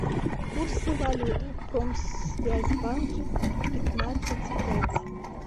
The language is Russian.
курсы валют в промсвязьбанке пятнадцать пять